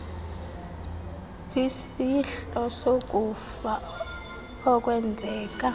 kwisehlo sokufa okwenzeka